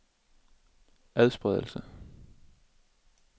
adspredelse